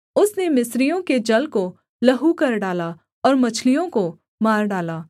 उसने मिस्रियों के जल को लहू कर डाला और मछलियों को मार डाला